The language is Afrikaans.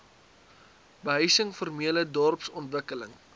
behuising formele dorpsontwikkeling